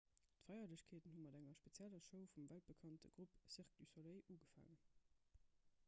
d'feierlechkeeten hu mat enger spezieller show vum weltbekannte grupp cirque du soleil ugefaangen